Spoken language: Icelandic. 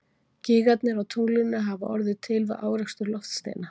Gígarnir á tunglinu hafa orðið til við árekstur loftsteina.